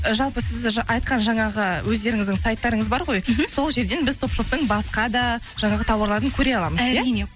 і жалпы сіз айтқан жаңағы өздеріңіздің сайттарыңыз бар ғой мхм сол жерден біз топ шоптың басқа да жаңағы тауарларын көре аламыз иә әрине